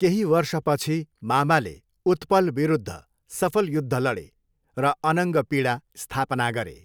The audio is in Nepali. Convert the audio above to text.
केही वर्षपछि मामाले उत्पल विरुद्ध सफल युद्ध लडे र अनङ्गपिडा स्थापना गरे।